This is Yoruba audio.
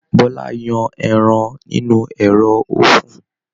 Bọla yan ẹran nínú ẹrọ ofun.